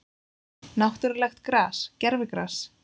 Náttúrulegt gras, gervigras?